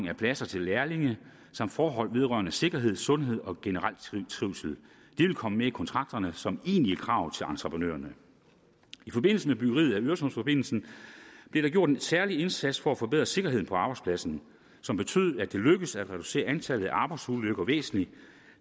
af pladser til lærlinge samt forhold vedrørende sikkerhed sundhed og generelt trivsel det vil komme med i kontrakterne som egentlig krav til entreprenørerne i forbindelse med byggeriet af øresundsforbindelsen blev der gjort en særlig indsats for at forbedre sikkerheden på arbejdspladsen som betød at det lykkedes at reducere antallet af arbejdsulykker væsentligt